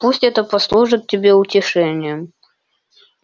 пусть это послужит тебе утешением